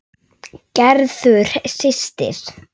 Gerður systir.